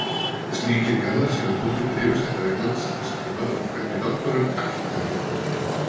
Slíkir garðar sýna hugmyndir yfirstéttar Englands þess tíma um hvernig náttúran ætti að líta út.